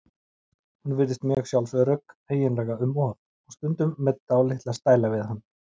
Hún virðist mjög sjálfsörugg, eiginlega um of, og stundum með dálitla stæla við hann.